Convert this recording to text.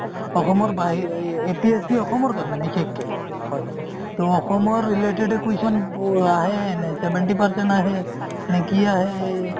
অসমৰ বাহি APSC অসমৰ কাৰণে বিশেষকে ত অসমৰে related question আহে নে নে seventy percent আহে নে কি আহে